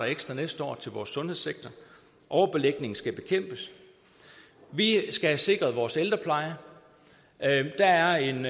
ekstra næste år til vores sundhedssektor overbelægning skal bekæmpes vi skal have sikret vores ældrepleje der er en